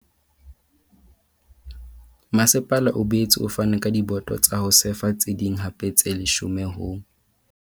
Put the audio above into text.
Masepala o boetse o fane ka diboto tsa ho sefa tse ding hape tse leshome ho